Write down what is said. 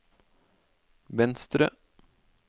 venstre